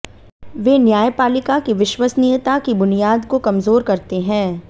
वे न्यायपालिका की विश्वसनीयता की बुनियाद को कमजोर करते हैं